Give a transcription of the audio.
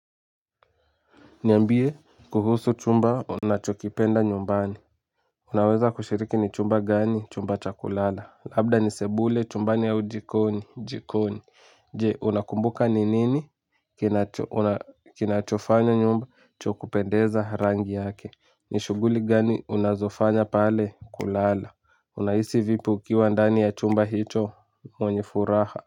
Niambie kuhusu chumba unachokipenda nyumbani. Unaweza kushiriki ni chumba gani chumba cha kulala labda ni sebule chumbani au jikoni jikoni. Je unakumbuka ni nini kinachofanya nyumba cha kupendeza rangi yake. Ni shughuli gani unazofanya pale kulala unahisi vipi ukiwa ndani ya chumba hicho mwenye furaha.